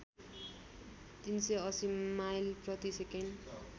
३८० mile प्रतिसेकेन्ड